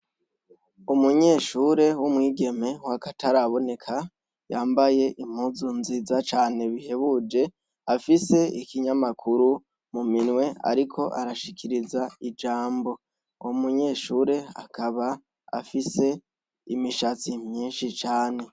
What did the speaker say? Umunyeshure w'umwigeme wo agataraboneka yambaye impuzu nziza cane bihebuje afise ikinyamakuru mu minwe, ariko arashikiriza ijambo umunyeshure akaba afise imishatsi myinshi cane.